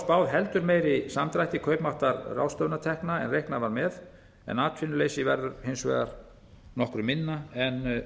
spáð heldur meiri samdrætti kaupmáttar ráðstöfunartekna en reiknað var með en atvinnuleysi verður hins vegar nokkru minna en